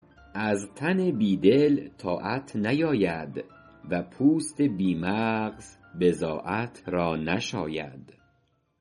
از تن بی دل طاعت نیاید و پوست بی مغز را بضاعت نشاید